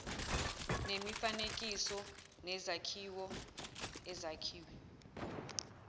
nemifanekiso nezakhiwo ezakhiwe